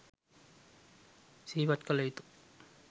සිහිපත් කළ යුතු